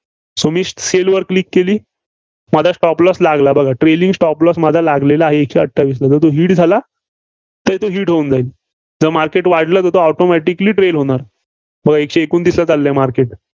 So मी sell वर click केली. माझा stop loss लागला बघा. trailing stop loss माझा लागलेला आहे, एकशे अठ्ठावीसला hit झाला? तो hit होऊन जाईल. जर market वाढलं तर automatically trail होणार. बघा एकशे एकोणतीसला चाललंय market